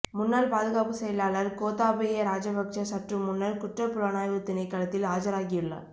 முன்னாள் பாதுகாப்பு செயலாளர் கோத்தாபய ராஜபக்ஷ சற்றுமுன்னர் குற்றப் புலனாய்வுத் திணைக்களத்தில் ஆஜராகியுள்ளார்